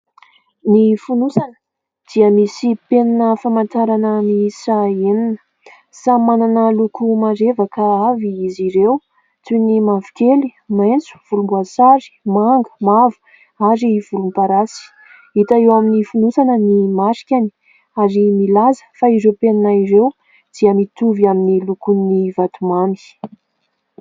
Ny fonosana dia misy penina famantarana miisa enina. Samy manana loko marevaka avy izy ireo, toy ny mavokely, maitso, volomboasary